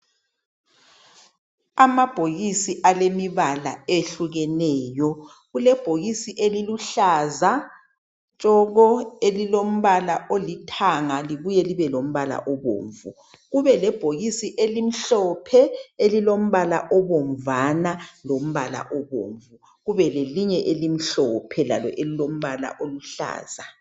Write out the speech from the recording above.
Amabhokisi alemibala ehlukeneyo, kulebhokisi oliluhlaza tshoko, elilombala olithanga libuye libe lombala obomvu. Kube lebhokisi elimhlophe, elilombala obomvana lombala obomvu, kube lelinye elimhlophe lalo elilombala oluhlaza.